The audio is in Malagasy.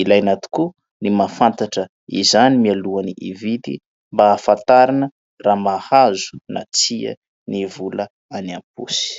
Ilaina tokoa ny mahafantatra izany mialoha ny hividy mba ahafantarana raha mahazo na tsia ny vola any am-paosy.